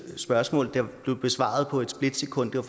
spørgsmål der blev besvaret på et splitsekund det var